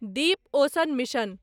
Deep ocean mission